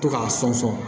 To k'a sɔn